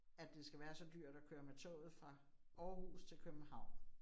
At det skal være så dyrt at køre med toget fra Aarhus til København